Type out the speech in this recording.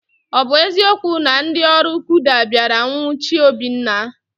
Ọ bụ eziokwu na ndị ọrụ kuda bịara nwuchie Obinna?